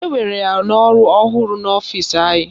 Ewere ya n'ọrụ ọhụrụ n'ọfịsi anyị